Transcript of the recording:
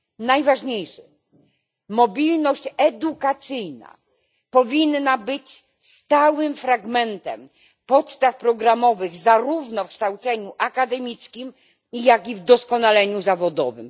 Najważniejszy mobilność edukacyjna powinna być stałym fragmentem podstaw programowych, zarówno w kształceniu akademickim, jak i w doskonaleniu zawodowym.